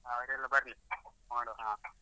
ಹಾ ಅವ್ರೆಲ್ಲ ಬರ್ಲಿ, ನೋಡ್ವ ಹಾ.